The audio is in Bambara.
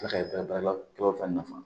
kaba fana nafa